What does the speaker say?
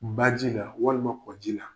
Baji la walima ko ji la.